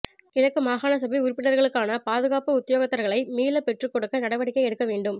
கிழக்கு மாகாண சபை உறுப்பினர்களுக்கான பாதுகாப்பு உத்தியோகத்தர்களை மீளப் பெற்றுக் கொடுக்க நடவடிக்கை எடுக்க வேண்டும்